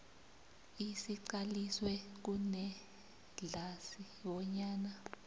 esiqaliswe kunedlac bonyana